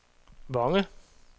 Vonge